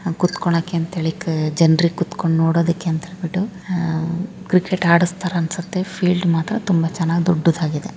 ಕೂತ್ಕೊಳ್ಳಕ್ಕೆ ಅಂತ ಹೇಳಿ ಜನ್ರಿಗೆ ಕುತ್ಕೊಂಡು ನೋಡೋದಕ್ಕೆ ಅಂತ ಹೇಳ್ಬಿಟ್ಟು ಅಹ್ ಕ್ರಿಕೆಟ್ ಆಡುಸ್ತಾರನ್ಸುತ್ತೆ ಫೀಲ್ಡ್ ಮಾತ್ರ ತುಂಬಾ ಚೆನ್ನಾಗಿ ದೊಡ್ಡದಾಗಿದೆ.